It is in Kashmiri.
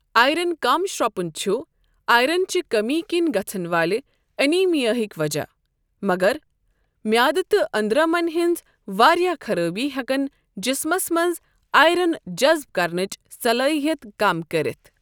آیرن کم شرٛپُن چُھ آیرن چہِ کٔمی کِنۍ گژھن والہِ انیٖمیاہک وجہ، مگر میٛادٕ تہٕ أنٛدرمن ہنٛز واریاہ خرٲبی ہیٛکن جِسمس منٛز آیرن جذٕب کرنٕچ صلٲحِیت کم کٔرِتھ۔